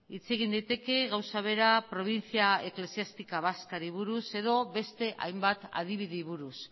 hitz egin daiteke gauza bera provincia eclesiástica vascari buruz edo beste hainbat adibideei buruz